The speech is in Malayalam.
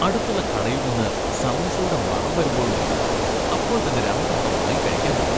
അടുത്തുള്ള കടയിൽ നിന്ന് സമൂസയുടെ മണം വരുമ്പോഴുണ്ടല്ലോ, അപ്പോൾ തന്നെ രണ്ടെണ്ണം വാങ്ങി കഴിക്കാൻ തോന്നും.